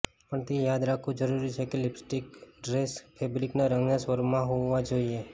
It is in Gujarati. પણ તે યાદ રાખવું જરૂરી છે કે લિપસ્ટિક ડ્રેસ ફેબ્રિકના રંગના સ્વરમાં હોવા જોઈએ